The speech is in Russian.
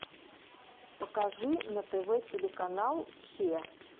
покажи на тв телеканал че